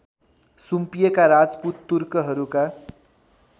सुम्पिएका Rajput तुर्कहरूका